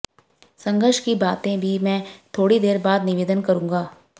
संघर्ष की बातें भी मैं थोड़ी देर बाद निवेदन करूंगा